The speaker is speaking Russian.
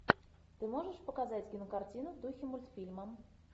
ты можешь показать кинокартину в духе мультфильма